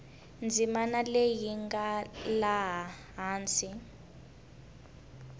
ndzimana leyi nga laha hansi